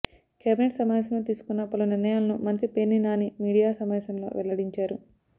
cabinet సమావేశంలో తీసుకున్న పలు నిర్ణయాలను మంత్రి పేర్ని నాని మీడియా సమావేశంలో వెల్లడించారు